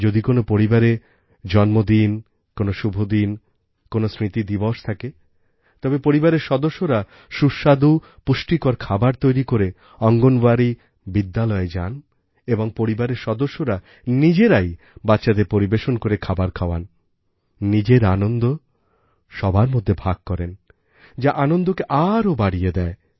যদি কোনো পরিবারে জন্মদিন কোনো শুভদিন কোনো স্মৃতিদিবস থাকে তবে পরিবারের সদস্যরা সুস্বাদু পুষ্টিকর খাবার তৈরি করে অঙ্গণবাড়ি বিদ্যালয়ে যান এবং পরিবারের সদস্যরা নিজেরাই বাচ্চাদের পরিবেশন করে খাবার খাওয়ান নিজের আনন্দ সবার মধ্যে ভাগ করেন যা আনন্দকে আরও বাড়িয়ে দেয়